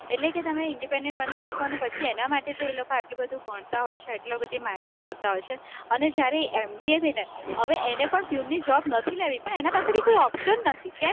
એટલે કે તમે independent બની શકશો, અને પછી એના માટે તે લોકો આટલું બધું ભણતા હોય છે, એટલી બધી મહેનત કરતા હોય છે, અને જયારે M. B. A. થઈને, હવે એને પણ પ્યુનની job નથી લેવી, પણ એના પાસે પણ કોઈ option નથી કેમ